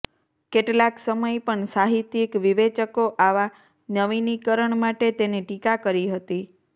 કેટલાક સમય પણ સાહિત્યિક વિવેચકો આવા નવીનીકરણ માટે તેને ટીકા કરી હતી